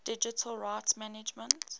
digital rights management